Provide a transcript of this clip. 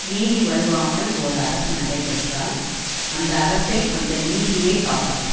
நீதி வழுவாமல் ஓர் அரசு நடைபெற்றால் அந்த அரசை அந்த நீதியே காப்பாற்றும்